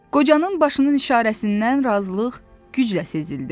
Qocanın başının işarəsindən razılıq güclə sezildi.